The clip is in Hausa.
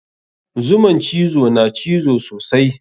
Zuman cizo na cizo sosai.